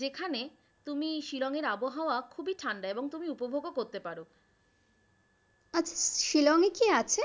যেখানে তুমি শিলং এর আবহাওয়া খুবই ঠান্ডা এবং তুমি উপভোগও করতে পারো। শিলংয়ে কি আছে?